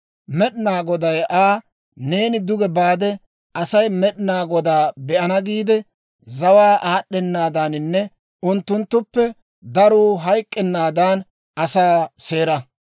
Med'inaa Goday Aa, «Neeni duge baade Asay Med'inaa Godaa be'ana giide, zawaa aad'd'enaadaninne unttunttuppe daruu hayk'k'ennaadan asaa seera.